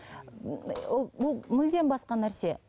ммм ол ол мүлдем басқа нәрсе